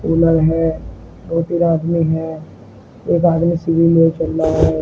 खुलल है दो तीन आदमी हैं एक आदमी सीढ़ी लिए चल रहा है।